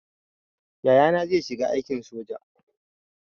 Yayana zai shiga aikin soja